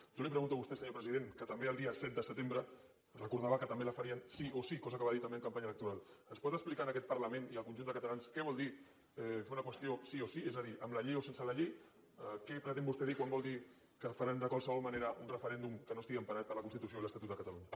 jo li pregunto a vostè senyor president que també el dia set de setembre recordava que també la farien sí o sí cosa que va dir també en campanya electoral ens pot explicar en aquest parlament i al conjunt de catalans què vol dir fer una qüestió sí o sí és a dir amb la llei o sense la llei què pretén vostè dir quan vol dir que faran de qualsevol manera un referèndum que no estigui emparat per la constitució i l’estatut de catalunya